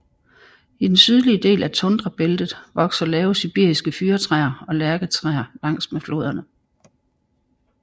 I den sydlige del af tundrabæltet vokser lave sibiriske fyrretræer og lærketræer langs med floderne